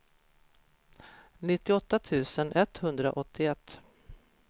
nittioåtta tusen etthundraåttioett